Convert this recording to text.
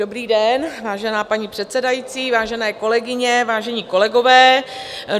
Dobrý den, vážená paní předsedající, vážené kolegyně, vážení kolegové.